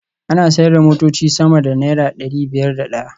Ana sayar da motoci sama da naira dari biyar da daya